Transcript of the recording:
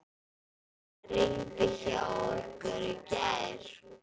Rigndi hjá ykkur í gær?